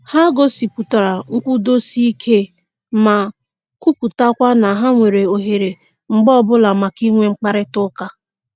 Ha gosipụtara nkwụdosike ma kwuputakwa na ha nwere ohere mgbe ọbụla maka inwe mkparịta ụka